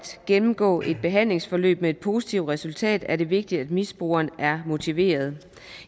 gennemgå et behandlingsforløb med et positivt resultat er det vigtigt at misbrugeren er motiveret